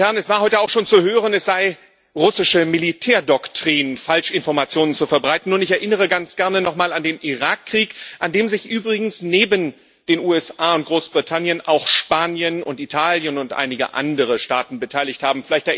Es war heute auch schon zu hören, es sei russische Militärdoktrin, Falschinformationen zu verbreiten, und ich erinnere ganz gerne nochmal an den Irakkrieg, an dem sich übrigens neben den USA und Großbritannien auch Spanien und Italien und einige andere Staaten beteiligt haben.